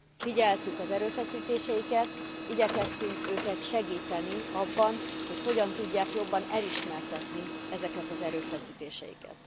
Figyeltük az erőfeszítéseiket, igyekeztük segíteni őket abban, hogy hogyan tudják jobban elismertetni ezeket az erőfeszítéseiket.